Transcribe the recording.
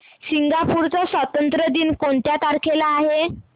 Singapore चा स्वातंत्र्य दिन कोणत्या तारखेला आहे